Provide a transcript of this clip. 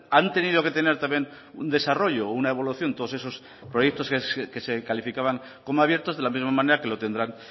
han tenido que tener también un desarrollo una evaluación todos esos proyectos que se calificaban como abiertos de la misma manera que lo tendrán